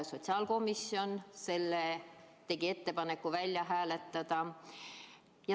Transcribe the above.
Sotsiaalkomisjon tegi ettepaneku see välja hääletada.